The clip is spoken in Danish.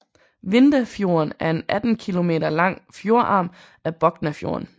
Vindafjorden er en 18 kilometer lang fjordarm af Boknafjorden